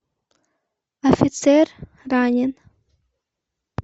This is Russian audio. офицер ранен